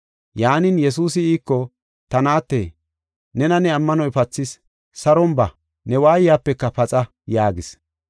Yaanin, Yesuusi iiko, “Ta naatte, nena ne ammanoy pathis, saron ba, ne waayapeka paxa” yaagis.